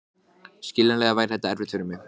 Þú munt ekki geta máð þær burt.